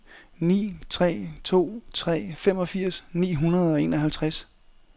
ni tre to tre femogfirs ni hundrede og enoghalvtreds